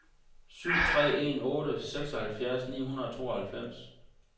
syv tre en otte seksoghalvfjerds ni hundrede og tooghalvfems